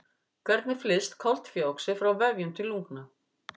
Hvernig flyst koltvíoxíð frá vefjum til lungna?